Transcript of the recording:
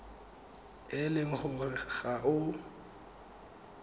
e le gore ga o